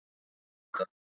Ég sé þetta.